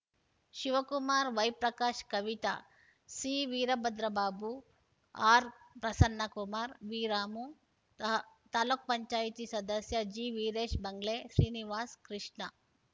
ಶಿವಕುಮಾರ್‌ ವೈಪ್ರಕಾಶ್‌ ಕವಿತಾ ಸಿವೀರಭದ್ರಬಾಬು ಆರ್‌ಪ್ರಸನ್ನಕುಮಾರ್‌ ವಿರಾಮು ತಾ ತಾಲ್ಲೂಕು ಪಂಚಾಯತಿ ಸದಸ್ಯ ಜಿವಿರೇಶ್‌ ಬಂಗ್ಲೆ ಶ್ರೀನಿವಾಸ್‌ ಕೃಷ್ಣ